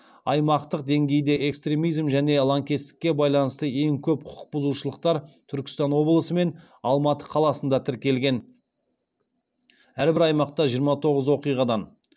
аймақтық деңгейде экстремизм және лаңкестікке байланысты ең көп құқықбұзушылықтар түркістан облысы мен алматы қаласында тіркелген